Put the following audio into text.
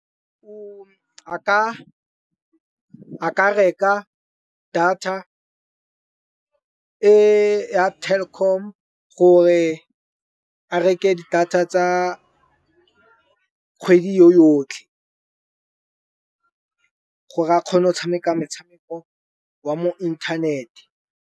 A ka reka data e ya Telkom gore a reke di data tsa kgwedi yo yotlhe, gore a kgone go tshameka metshameko wa mo inthanete.